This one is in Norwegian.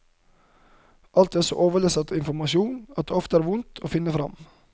Alt er så overlesset av informasjon at det ofte er vondt å finne fram.